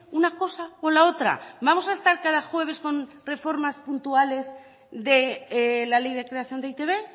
una cosa o la otra vamos a estar cada jueves con reformas puntuales de la ley de creación de e i te be